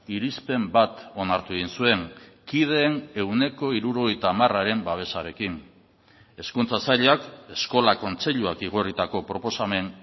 irizpen bat onartu egin zuen kideen ehuneko hirurogeita hamararen babesarekin hezkuntza sailak eskola kontseiluak igorritako proposamen